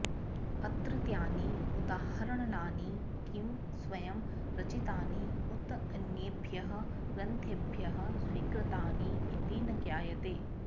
अत्रत्यानि उदाहरणानि किं स्वयं रचितानि उत अन्येभ्यः ग्रन्थेभ्यः स्वीकृतानि इति न ज्ञायते